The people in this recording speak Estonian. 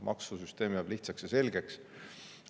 Maksusüsteem jääb lihtsaks ja selgeks.